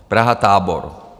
Praha-Tábor.